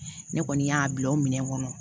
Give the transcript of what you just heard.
Ne kɔni y'a bila o minɛn kɔnɔ